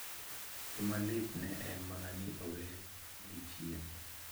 Gima litne en mana ni ne owegi chien.